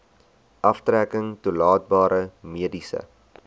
aftrekking toelaatbare mediese